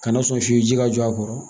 Kana sɔn f'i ji ka jɔ a kɔrɔ